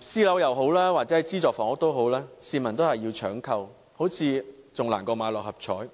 私人樓宇或資助房屋推出時，市民也要搶購，好像較六合彩中獎更困難。